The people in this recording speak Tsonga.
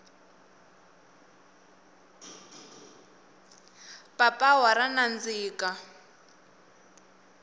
papawa ra nandziha